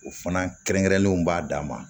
O fana kɛrɛnkɛrɛnnenw b'a dan ma